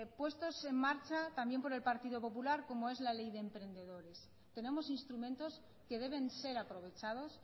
puestos en marcha también por el partido popular como es la ley de emprendedores tenemos instrumentos que deben ser aprovechados